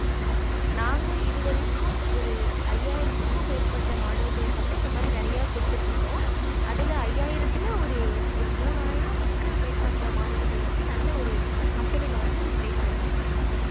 ஆஹ் நாங்க இது வரைக்கும் ஒரு ஐயாயரத்துக்கு மேற்பட்ட மாணவர்களுக்கு வந்து இந்த மாறி நெறைய குடுத்திட்டு இருக்கோம் அதுல ஐயாயிரத்துல ஒரு ஒரு மூனாயிரத்துக்கு மேற்பட்ட மாணவர்கள் வந்து நல்ல ஒரு company வந்து place ஆகிருகாங்க